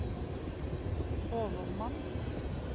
overmann